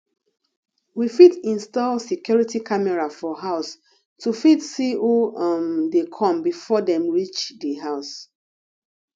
we fit install security camera for house to fit see who um dey come before dem reach di house